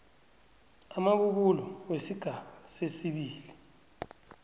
amabubulo wesigaba sesibili